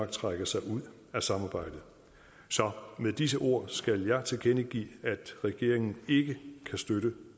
trækker sig ud af samarbejdet så med disse ord skal jeg tilkendegive at regeringen ikke kan støtte